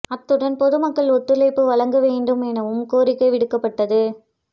அத்துடன் பொது மக்கள் ஒத்துழைப்பு வழங்க வேண்டும் எனவும் கோரிக்கை விடுக்கப்பட்டது